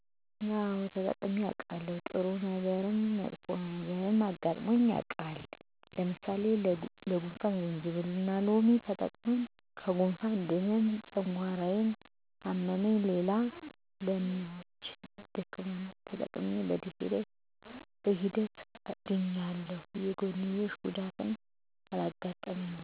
አወ ተጠቅሜ አዉቃለሁ፦ ጥሩ ነገረም መጥፎም መጥፎ ነገርም አጋጥሞ አጋጥሞኝ የዉቃል። ለምሳሌ ለጉንፍን ጅንጅብልና ሎሚ ተጠቅሜ ከጉነፋን ድኘ ጨጓራየነ አመመኝ ሌላዉ ለምች ዳማከሴን ተጠቅሜ በሂደት አድኖኛል የጎንዮሽ ጉዳትም አላጋጠመኝም።